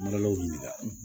Malaw ɲininka